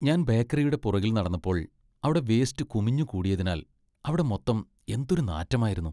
ഞാൻ ബേക്കറിയുടെ പുറകിൽ നടന്നപ്പോൾ അവിടെ വേസ്റ്റ് കുമിഞ്ഞുകൂടിയതിനാൽ അവിടം മൊത്തം എന്തൊരു നാറ്റമായിരുന്നു.